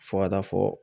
Fo ka taa fɔ